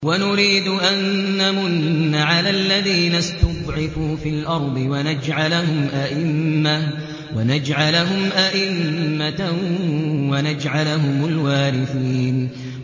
وَنُرِيدُ أَن نَّمُنَّ عَلَى الَّذِينَ اسْتُضْعِفُوا فِي الْأَرْضِ وَنَجْعَلَهُمْ أَئِمَّةً وَنَجْعَلَهُمُ الْوَارِثِينَ